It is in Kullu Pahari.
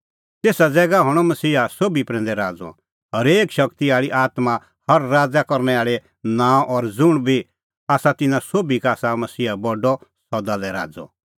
तेसा ज़ैगा हणअ मसीहा सोभी प्रैंदै राज़अ हरेक शगती आल़ी आत्मां हर राज़ करनै आल़ै नांअ ज़ुंण बी आसा तिन्नां सोभी का आसा मसीहा बडअ सदा लै राज़अ